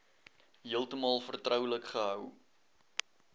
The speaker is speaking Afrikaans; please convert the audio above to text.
heeltemal vertroulik gehou